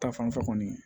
Ta fanfɛ kɔni